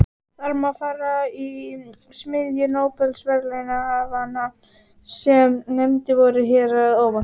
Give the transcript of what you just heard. Þar má fara í smiðju nóbelsverðlaunahafanna sem nefndir voru hér að ofan.